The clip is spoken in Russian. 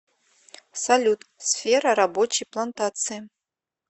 салют сфера рабочий плантации